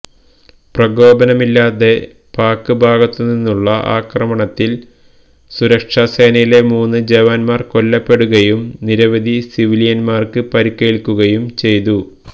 പ്രകോപനമില്ലാതെ പാക് ഭാഗത്തുനിന്നുള്ള ആക്രമണത്തിൽ സുരക്ഷസേനയിലെ മൂന്ന് ജവാന്മാർ കൊല്ലപ്പെടുകയും നിരവധി സിവിലിയന്മാര്ക്ക് പരിക്കേല്ക്കുകയും ചെയ്തു